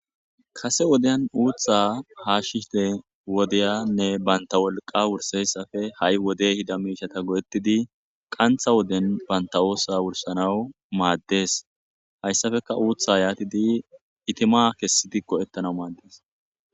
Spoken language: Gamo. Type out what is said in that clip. kase woden uutha hashida wodeyanne banta wolqa wurseyasafe ha'i wode ehida miishata go'ettidi qantha woden banta oosa wursanawu maaddes hayssafeka uutha yaatidi itima kessidi ko'ettana maaddes